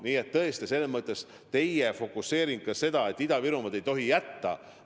Nii et tõesti meie fokuseering on, et Ida-Virumaad ei tohi hätta jätta.